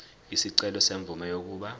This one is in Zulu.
isicelo semvume yokuba